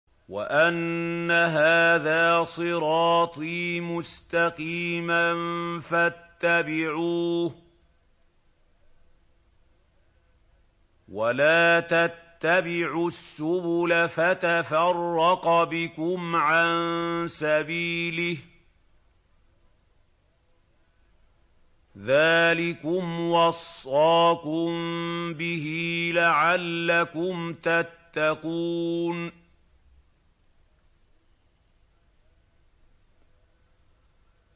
وَأَنَّ هَٰذَا صِرَاطِي مُسْتَقِيمًا فَاتَّبِعُوهُ ۖ وَلَا تَتَّبِعُوا السُّبُلَ فَتَفَرَّقَ بِكُمْ عَن سَبِيلِهِ ۚ ذَٰلِكُمْ وَصَّاكُم بِهِ لَعَلَّكُمْ تَتَّقُونَ